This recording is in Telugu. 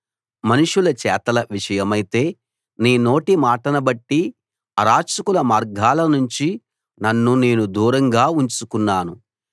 మనుషుల చేతల విషయమైతే నీ నోటి మాటనుబట్టి అరాచకుల మార్గాలనుంచి నన్ను నేను దూరంగా ఉంచుకున్నాను